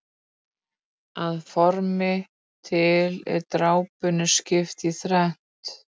Að formi til er drápunni skipt í þrennt.